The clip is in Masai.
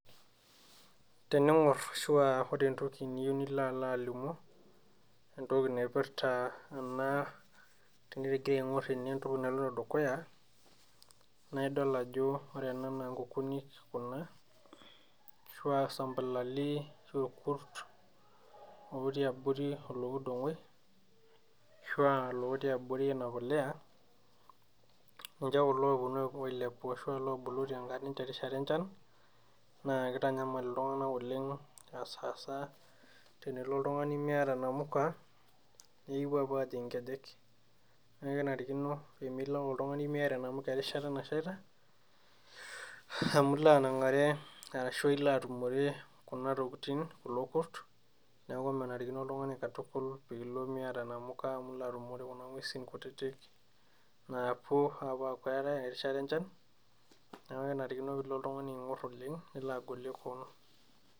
Tening'orr ashua ore entoki niyieu nilo alo alimu entoki naipirta ena tenitigira aing'orr ene entoki naloito dukuya naidol ajo ore ena naa inkukunik kuna ashua isampulali ashua irkurt otii abori olokidong'oi ashua lotii abori ena puliya ninche kulo oponu oilepu ashua lobulu tenka terishata enchan naa kitanyamal iltung'anak oleng asasa tenilo oltung'ani miata inamuka nekipuo apuo ajing inkejek nekenarikino pemilo ake oltung'ani miata enamuke erishata nashaita amu iloanang'are ashu ilo atu, ore kuna tokitin kulo kurt neeku menarikino oltung'ani katukul piilo miata inamuka amu ilo atumore kuna ng'uesin kutitik naapuo apuo aaku keetae erishata enchan niaku kenarikino nilo oltung'ani aing'orr oleng nilo agolie koon.